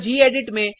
यह गेडिट